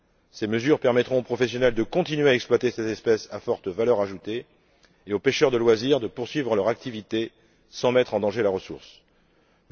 Ces mesures permettront aux professionnels de continuer à exploiter cette espèce à forte valeur ajoutée et aux pêcheurs de loisirs de poursuivre leur activité sans mettre la ressource en danger.